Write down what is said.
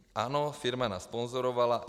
Ano, firma nás sponzorovala.